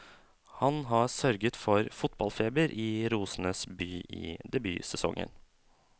Han har sørget for fotballfeber i rosenes by i debutsesongen.